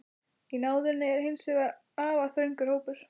Í náðinni er hins vegar afar þröngur hópur.